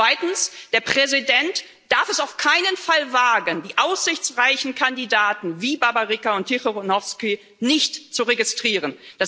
Zweitens Der Präsident darf es auf keinen Fall wagen, die aussichtsreichen Kandidaten wie Babaryka und Zichanouskaja nicht zu registrieren.